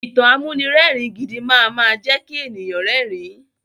Ìtàn amúnirẹ́ẹ̀rin gidi máama jẹ́ kí èèyàn rẹ́rin.